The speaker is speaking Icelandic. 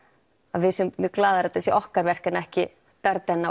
að við séum mjög glaðar að þetta sé okkar verk en ekki